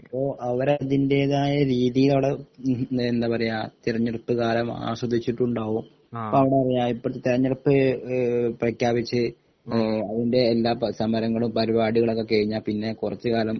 അപ്പൊ അവർ അതിന്റെതായ രീതിയിൽ അവിടെ എന്താ പറയാ തിരഞ്ഞെടുപ്പ് കാലം ആസ്വദിച്ചിട്ടുണ്ടാവും ഇപ്പൊ അവിടെറിയ ഇപ്പോത്തെ തെരഞ്ഞെടുപ്പ് എഹ് പ്രഖ്യാപിച്ച് അതിൻ്റെ എല്ലാ സമരങ്ങളും പരിപാടികളും ഒക്കെ കഴിഞ്ഞാൽ പിന്നെ കുറച്ച് കാലം